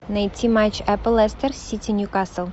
найти матч апл лестер сити ньюкасл